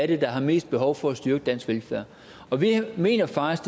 det er der er mest behov for at styrke dansk velfærd og vi mener faktisk